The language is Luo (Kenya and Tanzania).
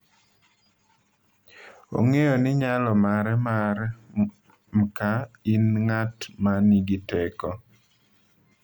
Ong’eyo ni nyalo mare mar mka in ng’at ma nigi teko.